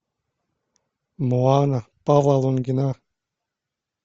моана павла лунгина